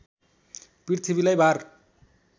पृथ्वीलाई भार